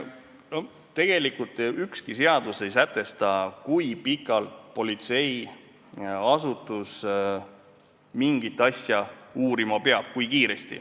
Tegelikult ei sätesta ükski seadus, kui kiiresti politseiasutus mingit asja uurima peab.